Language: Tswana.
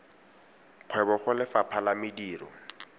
kgwebo go lefapha la mediro